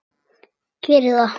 Geri það!